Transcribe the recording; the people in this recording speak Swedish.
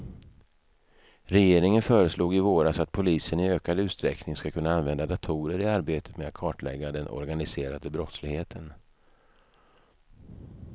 Regeringen föreslog i våras att polisen i ökad utsträckning ska kunna använda datorer i arbetet med att kartlägga den organiserade brottsligheten.